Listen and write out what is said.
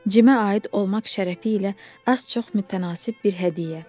Cimə aid olmaq şərəfi ilə az-çox mütənasib bir hədiyyə.